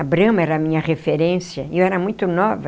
A Brahma era a minha referência e eu era muito nova.